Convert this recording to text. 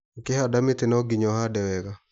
Ũkĩhanda mĩtĩ no ginya ũhande wega.